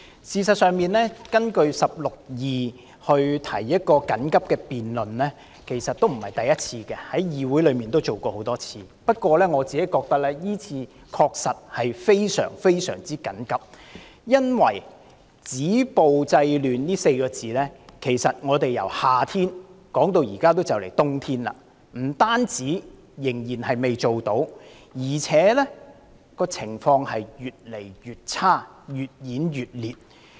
事實上，根據第162條緊急提出休會待續議案，今次並非首次，議會之前也曾多次如此處理，不過，我認為今次的情況確實是非常緊急，因為"止暴制亂"這4個字，由夏天提出一直談到現在行將入冬，不單仍未做到，情況更越來越差、越演越烈。